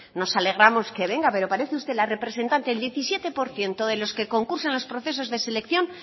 nos alegramos que venga pero parece usted la representante del diecisiete por ciento de los que concursan en los procesos de selección